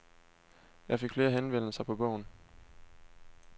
Jeg fik flere henvendelser på bogen.